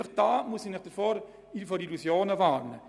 Diesbezüglich muss ich Sie vor Illusionen warnen: